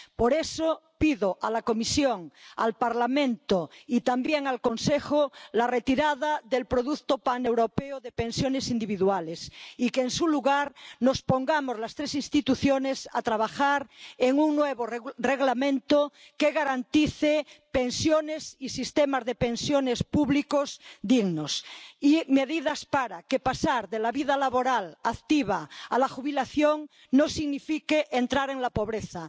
Por eso pido a la Comisión, al Parlamento y también al Consejo la retirada del producto paneuropeo de pensiones individuales, y que en su lugar nos pongamos las tres instituciones a trabajar en un nuevo reglamento que garantice pensiones y sistemas de pensiones públicos dignos y medidas para que pasar de la vida laboral activa a la jubilación no signifique entrar en la pobreza